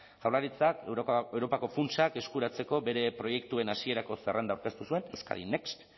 jaurlaritzak europako funtsak eskuratzeko bere proiektuen hasierako zerrenda aurkeztu zuen euskadi next